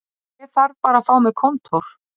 Ég þarf bara að fá mér kontór